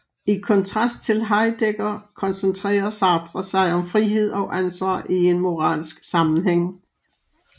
I kontrast til Heidegger koncentrerer Sartre sig om frihed og ansvar i en moralsk sammenhæng